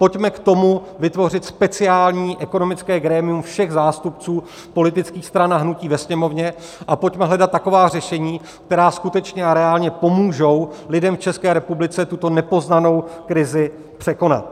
Pojďme k tomu vytvořit speciální ekonomické grémium všech zástupců politických stran a hnutí ve Sněmovně a pojďme hledat taková řešení, která skutečně a reálně pomůžou lidem v České republice tuto nepoznanou krizi překonat.